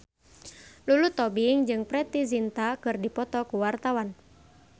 Lulu Tobing jeung Preity Zinta keur dipoto ku wartawan